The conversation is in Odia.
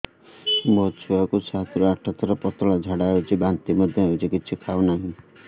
ମୋ ଛୁଆ କୁ ସାତ ରୁ ଆଠ ଥର ପତଳା ଝାଡା ହେଉଛି ବାନ୍ତି ମଧ୍ୟ୍ୟ ହେଉଛି କିଛି ଖାଉ ନାହିଁ